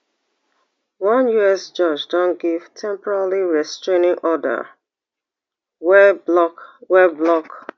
one us judge don give temporary restraining order wey block wey block